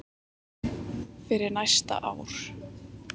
fyrir næsta ár.